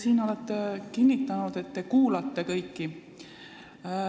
Te olete siin kinnitanud, et te kuulate kõiki.